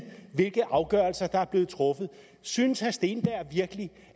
hvilke afgørelser der er blevet truffet synes herre steenberg virkelig